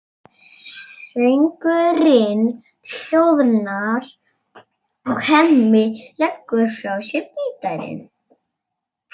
Söngurinn hljóðnar og Hemmi leggur frá sér gítarinn.